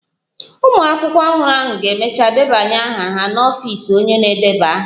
Ụmụ akwụkwọ ọhụrụ ahụ ga-emecha ndebanye aha ha n'ọfịs onye na-edeba aha